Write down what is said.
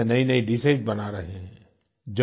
kitchen में नयीनयी dishes बना रहे हैं